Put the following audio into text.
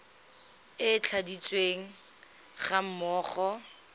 e e tladitsweng ga mmogo